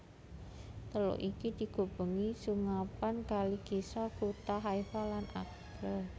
Teluk iki dikubengi sungapan Kali Kishon kutha Haifa lan Acre